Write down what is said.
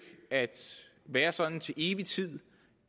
at være sådan til evig tid